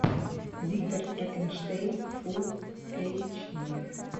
виктор франкенштейн фул эйч ди